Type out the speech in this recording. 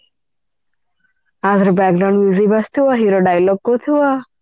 ଆ ଥରେ ବାଜୁଥିବା hero dialog କହୁଥିବ